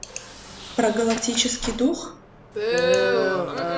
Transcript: про галактический дух